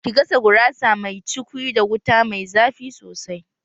Ki gasa gurasa mai cukwi da wuta mai zafi sosai!